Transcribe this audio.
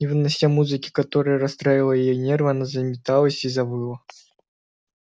не вынося музыки которая расстраивала ей нервы она заметалась и завыла